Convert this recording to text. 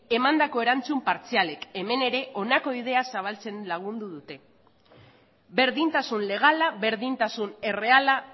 emandako erantzun partzialek hemen ere honako ideia zabaltzen lagundu dute berdintasun legala berdintasun erreala